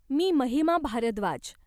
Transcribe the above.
मी Mahima Bharadwaj.